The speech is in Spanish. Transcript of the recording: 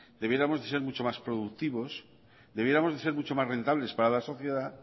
deberíamos de ser mucho más productivos deberíamos de ser mucho más rentables para la sociedad